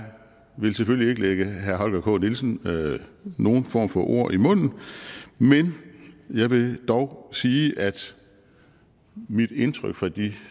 vil selvfølgelig ikke lægge herre holger k nielsen nogen form for ord i munden men jeg vil dog sige at mit indtryk fra de